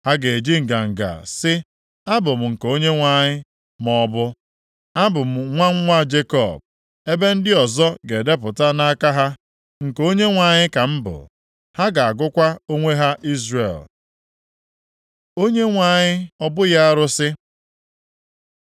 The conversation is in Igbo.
Ha ga-eji nganga sị, ‘Abụ m nke Onyenwe anyị,’ maọbụ ‘Abụ m nwa nwa Jekọb,’ ebe ndị ọzọ ga-edepụta nʼaka ha, ‘Nke Onyenwe anyị ka m bụ,’ ha ga-agụkwa onwe ha Izrel. Onyenwe anyị, ọ bụghị arụsị